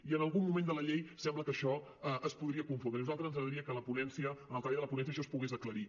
i en algun moment de la llei sembla que això es podria confondre i a nosaltres ens agradaria que en la ponència en el treball de la ponència això es pogués aclarir